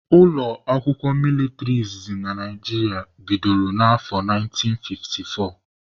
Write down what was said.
Ụlọakwụkwọ mịlịtrị izizi Naijiria bidoro na afọ 1954